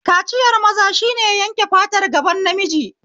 Kaciyar maza shine yanke fatar gaban namiji